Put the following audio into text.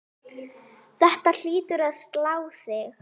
Þetta hlýtur að slá þig?